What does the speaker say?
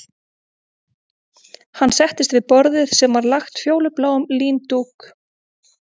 Hann settist við borðið sem var lagt fölbláum líndúk